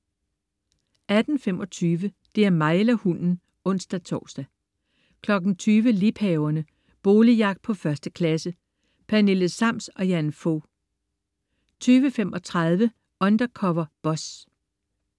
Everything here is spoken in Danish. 18.25 Det er mig eller hunden! (ons-tors) 20.00 Liebhaverne. Boligjagt på 1. klasse. Pernille Sams og Jan Fog 20.35 Undercover Boss